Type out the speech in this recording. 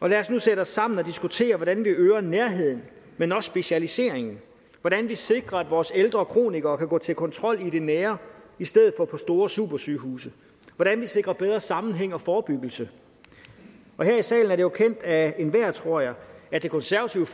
og lad os nu sætte os sammen og diskutere hvordan det øger nærheden men også specialiseringen hvordan vi sikrer at vores ældre kronikere kan gå til kontrol i det nære i stedet for på store supersygehuse hvordan vi sikrer bedre sammenhæng og forebyggelse og her i salen er det jo kendt af enhver tror jeg at det konservative